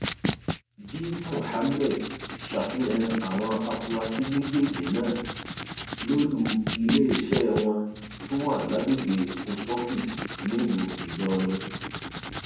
g mohammed ṣàfihàn àwọn afurasí méjèèjì náà lólu iléeṣẹ wọn tó wà lágbègbè post office nílùú ìlọrin